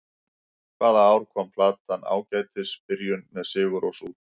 Hvaða ár kom platan Ágætis byrjun, með Sigurrós út?